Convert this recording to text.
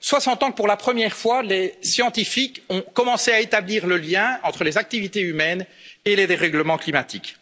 soixante ans que, pour la première fois, les scientifiques ont commencé à établir le lien entre les activités humaines et les dérèglements climatiques